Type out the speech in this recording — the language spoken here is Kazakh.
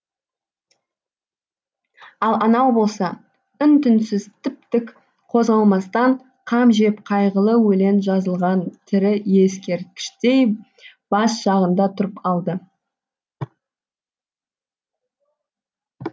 ал анау болса үн түнсіз тіп тік қозғалмастан қам жеп қайғылы өлең жазылған тірі ескерткіштей бас жағында тұрып алды